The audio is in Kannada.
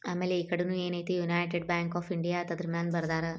ಆಮೇಲೆ ಈಕಡೆ ನು ಏನಿತಿ ಯುನೈಟೆಡ್ ಬ್ಯಾಂಕ್ ಆಫ್ ಇಂಡಿಯಾ ಅಂತ ಬರ್ದವ್ರೆ.